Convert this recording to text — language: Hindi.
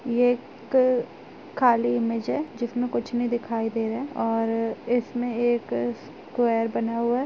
यह एक खाली इमेज है जिसमें कुछ नहीं दिखाई दे रहा है और इसमें एक स्क्वायर बना हुआ है|